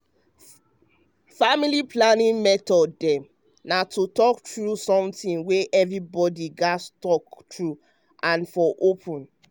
family planning method dem na to talk um true something wey evribodi nid gats talk true and for open.